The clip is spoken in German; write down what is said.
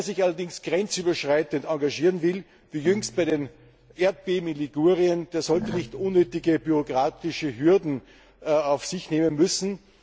Wer sich allerdings grenzüberschreitend engagieren will, wie jüngst bei den Erdbeben in Ligurien, der sollte nicht unnötige bürokratische Hürden auf sich nehmen müssen.